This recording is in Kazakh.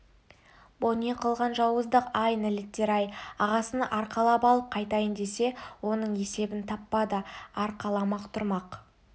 бұ не қылған жауыздық ай нәлеттер-ай ағасын арқалап алып қайтайын десе оның есебін таппады арқаламақ тұрмақ